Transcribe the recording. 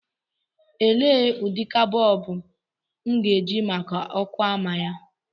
Elee ụdịka bọlbụ m ga-eji maka ọkụ ọma ya.